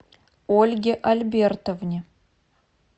ольге альбертовне